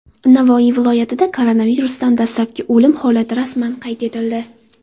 Navoiy viloyatida koronavirusdan dastlabki o‘lim holati rasman qayd etildi.